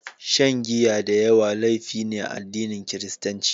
Shan giya da yawa laifi ne a addinin Kiristanci.